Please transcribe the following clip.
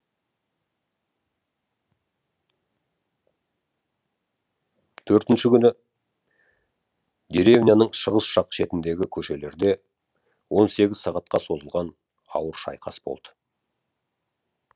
төртінші күні деревняның шығыс жақ шетіндегі көшелерде он сегіз сағатқа созылған ауыр шайқас болды